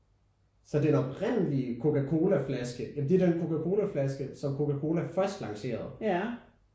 Så den oprindelige Coca Cola flaske ja men det er den Coca Cola flaske som Coca Cola først lancerede